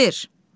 Vəzir!